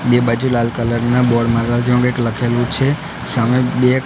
બે બાજુ લાલ કલર ના બોર્ડ મારલા જેમા કઇક લખેલુ છે સામે બે--